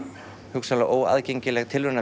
hugsanlega óaðgengileg